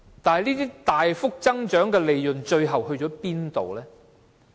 這些大幅增加的利潤最後到哪裏去？